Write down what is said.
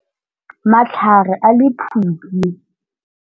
Matlhare a lephutsi.